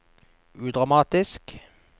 udramatisk